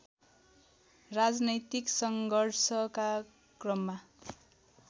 राजनैतिक सङ्घर्षका क्रममा